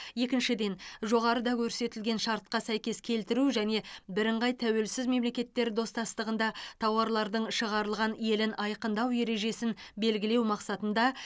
екіншіден жоғарыда көрсетілген шартқа сәйкес келтіру және бірыңғай тәуелсіз мемлекеттер достастығында тауарлардың шығарылған елін айқындау ережесін белгілеу мақсатында